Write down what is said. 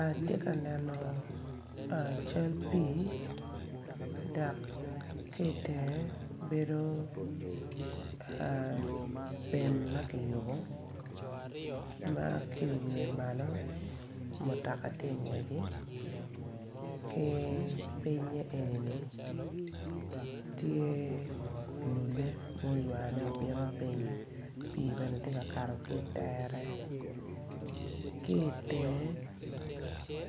Ati ka neno cal pii dak ki itenge bedo pem ma kiyubu ma ki iwiye malo mutaka ti ingweci ki pinye enini tye olule oywane obino piny pii bene ti kakato ki itere ki itenge